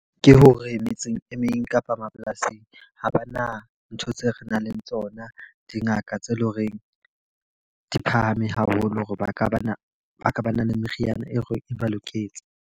Ke hore metseng e meng kapa mapolasing, ha ba na ntho tseo re nang le tsona. Dingaka tse leng horeng di phahame haholo hore ba ka ba na ba ka ba na le meriana e re e ba loketse.